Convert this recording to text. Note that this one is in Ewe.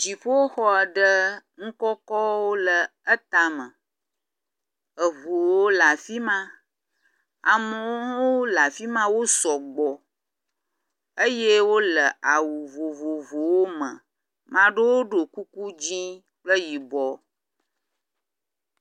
Dziƒoxɔ aɖe nu kɔkɔwo le etame, eŋuwo le afi ma amewo hã wole afi ma wo sɔgbɔ eye wole awu vovovowo me. Maɖewo ɖɔ kuku dzɛ̃ kple yibɔ.